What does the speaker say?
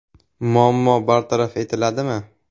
Muammo bartaraf etiladimi?